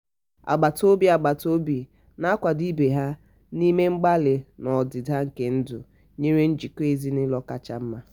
agbata obi agbata obi na-akwado ibe ha n'ime mkpali na ọdịda nke ndu yiri njikọ ezinụlọ kacha mma.